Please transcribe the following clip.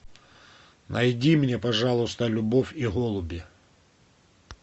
найди мне пожалуйста любовь и голуби